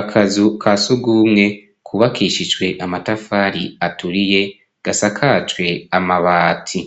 Akazu ka sugumwe kubakishijwe amatafari aturiye, gasakajwe amabati,